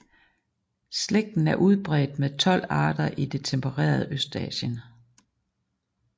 Slægten er udbredt med 12 arter i det tempererede Østasien